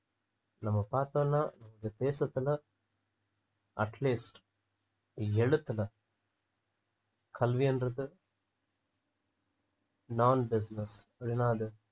நம்ம பார்த்தோம்னா இந்த தேசத்துல atleast எழுத்துல கல்வின்றது non business அது என்னாது